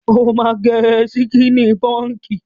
O máa gẹ síkíní pọǹkì.